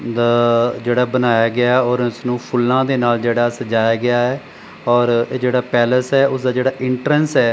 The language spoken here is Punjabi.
ਦਾ ਜਿਹੜਾ ਬਣਾਇਆ ਗਿਆ ਹੈ ਔਰ ਇਸਨੂੰ ਫੁੱਲਾਂ ਦੇ ਨਾਲ ਜਿਹੜਾ ਸਜਾਇਆ ਗਿਆ ਹੈ ਔਰ ਇਹ ਜਿਹੜਾ ਪੈਲੇਸ ਹੈ ਉਸ ਦਾ ਜਿਹੜਾ ਐਂਟਰੈਂਸ ਹੈ --